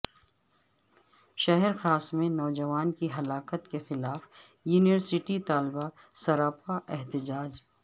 شہرخاص میں نوجوان کی ہلاکت کے خلاف یونیورسٹی طلاب سرا پا احتجاج